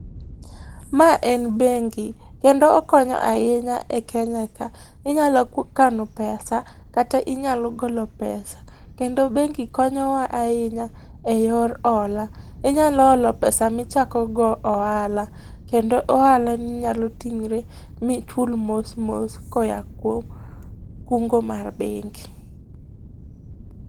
Ma en bengi, kendo okonyo ainya e Kenya ka. Inyalo ku kano pesa, kata inyalo golo pesa. Kendo bengi konyowa ainya e yor ola. Inyalo olo pesa michako go oala. Kendo oalani nyalo ting're michul mos mos koya kwom kungo mar bengi.